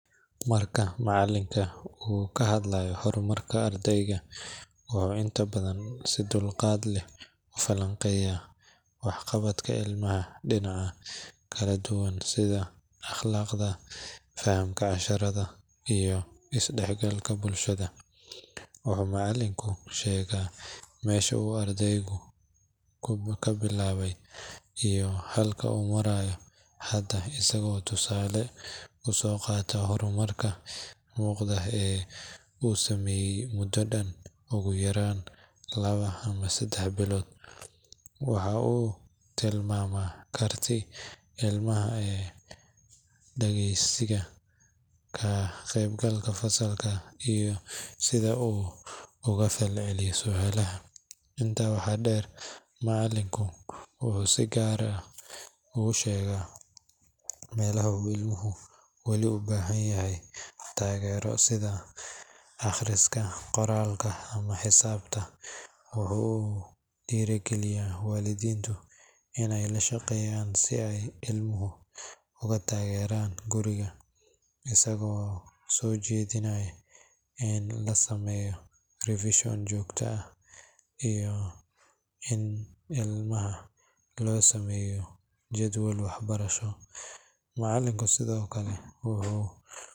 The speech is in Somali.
Mara macalinka uu kahadlayo horumarka ardeyga, oo inta badan si dulqad leh ufalan qeeya wax qabadka illmaha dinac kala duban sida aqlaqda, fahamka casharada iyo isdaxgalka bulshada, wuxuu macalinku sheega mesha uu ardeygu kabilaawe iyo halka uu marayo hada asaga oo tusale usooqaato horumarka muuqdo ee uu sameeye mudo dhan ogu yaraan laba ama sedex bilood, waxa uu tilmamaa kartid, ilmaha dhageeysiga, kaqeb galka fasalka iyo sida uu ugafalceliyo sualaha, inta waxaa dheer macalinku wuxuu si gar ogu sheega maleha uu ill muhumed uu weli ubahan yahay tageero sida aqriska, qoralka ama xisabta, wuxuu dhiiri geliya waalidintu inay lashaqeeyan si ay illmuhu oga tageeran guriga asaga oo soo jedinay in la sameeyo revision jogta ah iyo in illmaha loo sameeyo jedwel wax barasho, macalinka sidokale wuxuu xoojiya wax barashada